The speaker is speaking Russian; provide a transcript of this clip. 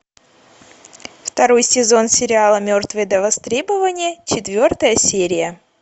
второй сезон сериала мертвые до востребования четвертая серия